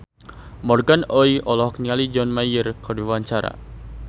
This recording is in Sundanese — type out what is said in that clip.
Morgan Oey olohok ningali John Mayer keur diwawancara